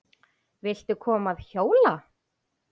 Viltu koma að hjóla?